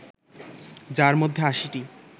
যার মধ্যে ৮০টি